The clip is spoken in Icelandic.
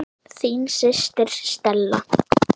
Þín systir, Stella.